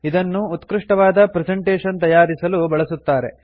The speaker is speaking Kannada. ಇದನ್ನು ಉತ್ಕೃಷ್ಟವಾದ ಪ್ರೆಸೆಂಟೇಷನ್ ತಯಾರಿಸಲು ಬಳಸುತ್ತಾರೆ